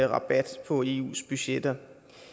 rabat på eus budgetter